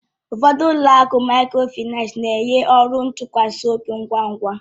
Ụfọdụ ụlọ akụ Mikrofaịnsi na-enye ọrụ ntụkwasị obi ngwa ngwa